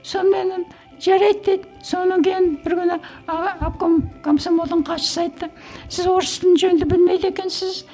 сонымен жарайды деді сонан кейін бір күні обком комсомолдың хатшысы айтты сіз орыс тілін жөнді білмейді екенсіз